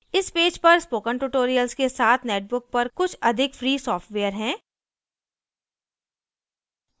इस पेज पर spoken tutorials के साथ netbook पर कुछ अधिक free सॉफ्टवेयर हैं